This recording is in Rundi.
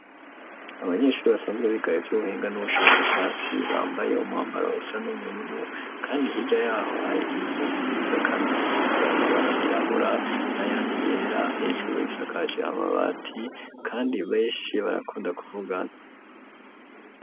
Abanyeshuri basanzwe biga ivyubuhinga n'ubushakashatsi bambaye umambaro usa n'ubururu kandi hirya yaho hari inzu nziza kandi zisize amabara yirabura n'ayandi yera hejuru isakaje amabati kandi beshi barakunda ku vugana.